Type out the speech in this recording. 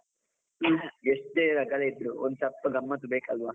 ಎಷ್ಟೇ ರಗಳೆ ಇದ್ರೂ ಒಂದು ಸ್ವಲ್ಪ ಗಮ್ಮತ್ ಬೇಕಲ್ವಾ.